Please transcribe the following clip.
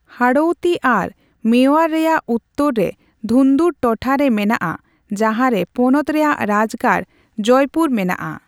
ᱦᱟᱲᱳᱣᱛᱤ ᱟᱨ ᱢᱮᱣᱟᱨ ᱨᱮᱭᱟᱜ ᱩᱛᱛᱟᱹᱨ ᱨᱮ ᱫᱷᱩᱱᱫᱩᱨ ᱴᱚᱴᱷᱟ ᱨᱮ ᱢᱮᱱᱟᱜᱼᱟ, ᱡᱟᱦᱟᱸ ᱨᱮ ᱯᱚᱱᱚᱛ ᱨᱮᱭᱟᱜ ᱨᱟᱡᱽᱜᱟᱲ ᱡᱚᱭᱯᱩᱨ ᱢᱮᱱᱟᱜᱼᱟ ᱾